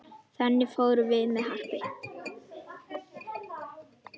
Þangað fórum við Happi.